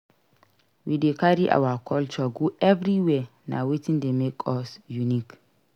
We dey carry our culture go everywhere; na wetin dey make us unique.